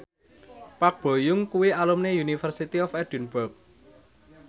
Park Bo Yung kuwi alumni University of Edinburgh